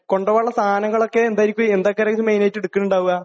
കൊണ്ടുപോവാനുള്ള സാധനങ്ങളൊക്കെ? എന്തൊക്കെ? എന്തൊക്കെയായിരിക്കും മെയിൻ ആയിട്ട് എടുക്കലുണ്ടാകുക?